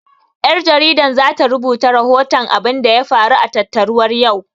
Ƴar jaridan zata rubuta rahoton abunda ya faru a tattaruwar yau